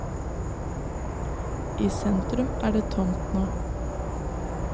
I sentrum er det tomt nå.